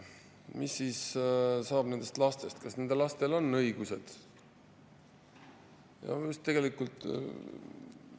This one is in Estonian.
Mis saab nendest lastest, kas nendel lastel on õigused?